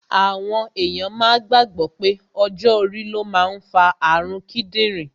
Àwọn èyàn máa gbàgbọ̀ pé ọjọ́ orí ló máa ń fa àrun kídìrín